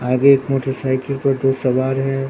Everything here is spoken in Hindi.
आगे एक मोटरसाइकिल पर दो सवार है।